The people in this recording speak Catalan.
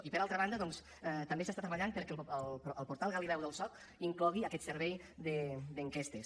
i per altra banda doncs també s’està treballant perquè el portal galileu del soc inclogui aquest servei d’enquestes